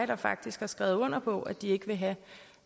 der faktisk har skrevet under på at de ikke vil have